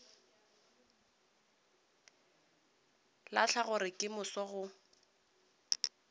lahle gore ka moso go